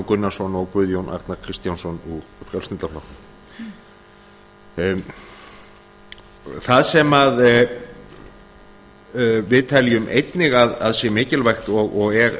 gunnarsson og guðjón arnar kristjánsson úr frjálslynda flokknum það sem við teljum einnig að sé mikilvægt og er